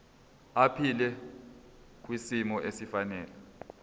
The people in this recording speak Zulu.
aphile kwisimo esifanele